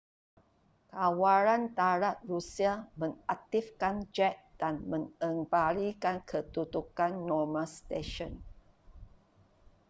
kawalan darat rusia mengaktifkan jet dan mengembalikan kedudukan normal stesen